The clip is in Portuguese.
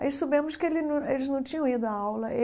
Aí, soubemos que ele não eles não tinham ido à aula.